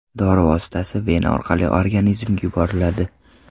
Dori vositasi vena orqali organizmga yuboriladi.